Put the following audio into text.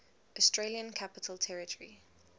australian capital territory